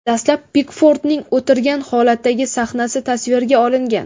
Dastlab Pikfordning o‘tirgan holatdagi sahnasi tasvirga olingan.